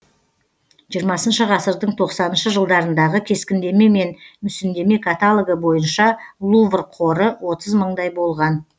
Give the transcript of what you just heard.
жиырмасыншы ғасырдың тоқсаныншы жылдарындағы кескіндеме мен мүсіндеме каталогі бойынша лувр қоры отыз мыңдай болған